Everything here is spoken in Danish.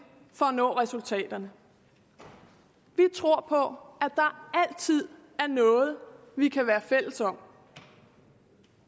for at nå resultaterne vi tror på at der altid er noget vi kan være fælles om